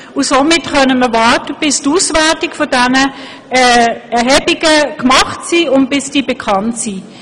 Somit können wir warten, bis die Auswertungen dieser Erhebungen vorliegen und bekannt sind.